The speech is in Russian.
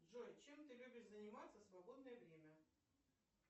джой чем ты любишь заниматься в свободное время